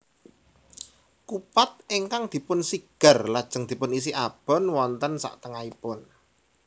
Kupat ingkang dipun sigar lajeng dipun isi abon wonten saktengahipun